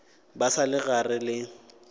ba sa le gare le